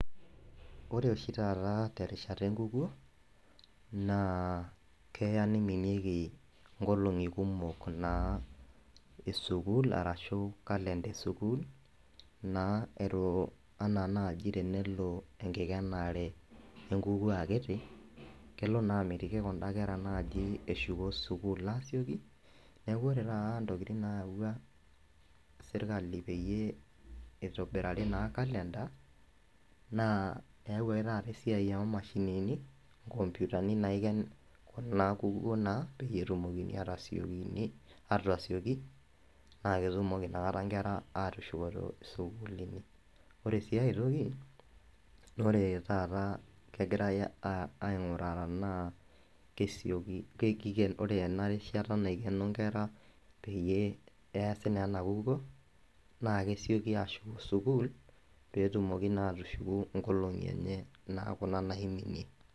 ore oshi taata terishata enkukuo naa keya niminieki nkoloni kumok, naa esukuul, arashu calender esukuul naa elo, anaa naji tenelo enkikenare enkukuo akiti, kelo naa amitiki kuda kera eshuko sukuul asioki, neeku ore taata ntokitin naa nayawau sirkali peyie eitobirari naa calender naa eyawuaki taata esiai oo mashinini, nkomputani naaiken ena kukuo naa, peyie etumoki aatasioki, naa ketumoki inakata, nkera aatushukokino sukuulini. ore sii ae toki ore, taata kegirae aeng'uraa tenaa. ore ena risata naikeno nkera peyie eesi naa ena kukuo naa kesioki ashuko sukuul pee etumoki naa atushuku nkolong'i enye kuna naiminie.